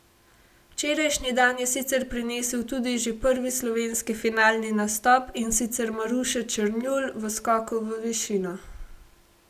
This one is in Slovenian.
Včerajšnji dan je sicer prinesel tudi že prvi slovenski finalni nastop, in sicer Maruše Černjul v skoku v višino.